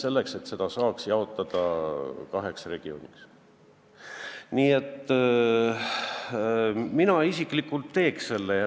See takistab jaotamist kaheks regiooniks.